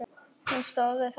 Hún stóð við það!